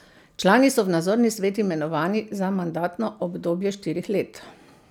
Člani so v nadzorni svet imenovani za mandatno obdobje štirih let.